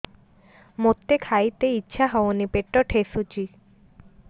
ମୋତେ ଖାଇତେ ଇଚ୍ଛା ହଉନି ପେଟ ଠେସୁଛି